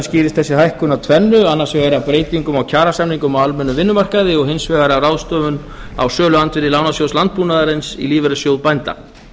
skýrist þessi hækkun af tvennu annars vegar af breytingum á kjarasamningum á almennum vinnumarkaði og hins vegar af ráðstöfun á söluandvirði lánasjóðs landbúnaðarins í lífeyrissjóð bænda